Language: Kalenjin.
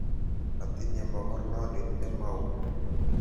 Atinye mogornondit ne mao.